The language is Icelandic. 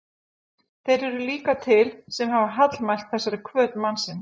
Þeir eru líka til, sem hafa hallmælt þessari hvöt mannsins.